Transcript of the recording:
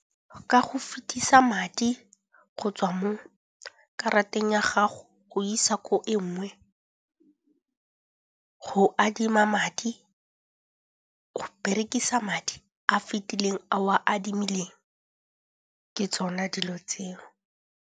Ka go fetisa madi go tswa mo karateng ya gago go isa ko e nngwe, go adima madi, go berekisa madi a fitileng a o a adimileng. Ke tsona dilo tseo.